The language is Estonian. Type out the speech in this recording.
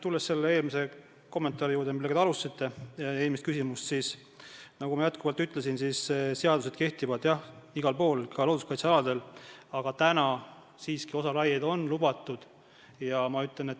Tulles selle eelmise kommentaari juurde, millega te alustasite eelmist küsimust, siis nagu ma ütlesin, seadused kehtivad igal pool, ka looduskaitsealadel, aga praegu on siiski teatud raied seal lubatud.